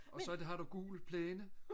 og så har du gul plæne